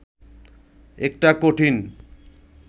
একটা কঠিন